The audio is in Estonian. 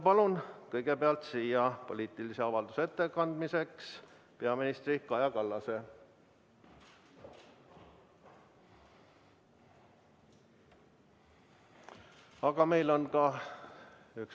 Palun kõigepealt siia poliitilise avalduse ettekandmiseks peaminister Kaja Kallase!